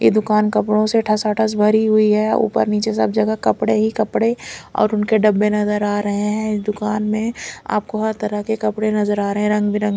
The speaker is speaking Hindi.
ये दुकान कपड़ों से ठसाठस भरी हुई है ऊपर नीचे सब जगह कपड़े ही कपड़े और उनके डब्बे नजर आ रहे हैं दुकान में आपको हर तरह के कपड़े नजर आ रहे हैं रंगबिरंग--